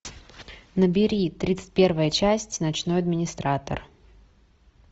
набери тридцать первая часть ночной администратор